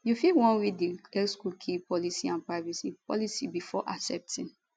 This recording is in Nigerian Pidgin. you fit wan read di xcookie policyandprivacy policybefore accepting